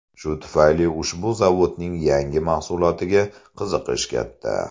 Shu tufayli ushbu zavodning yangi mahsulotiga qiziqish katta.